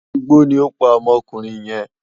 Igbó ni ó pa ọmọkùnrin yẹn